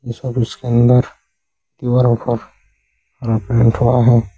तो सब इसके अंदर ऑफर प्रिंट हुआ है।